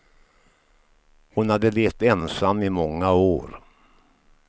Hon hade levt ensam i många år.